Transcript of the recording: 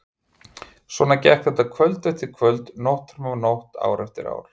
Svona gekk þetta kvöld eftir kvöld, nótt fram af nótt, ár eftir ár.